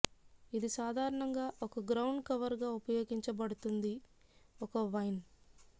ఇది సాధారణంగా ఒక గ్రౌండ్ కవర్ గా ఉపయోగించబడుతుంది ఒక వైన్